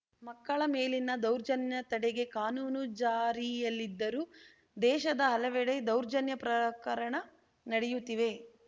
ಮಕ್ಕಳ ಮೇಲಿನ ದೌರ್ಜನ್ಯ ತಡೆಗೆ ಕಾನೂನು ಜಾರಿಯಲ್ಲಿದ್ದರೂ ದೇಶದ ಹಲವೆಡೆ ದೌರ್ಜನ್ಯ ಪ್ರಕರಣ ನಡೆಯುತ್ತಿವೆ